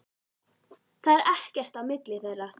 Það er ekkert á milli þeirra.